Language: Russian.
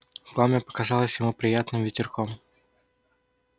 пламя показалось ему приятным ветерком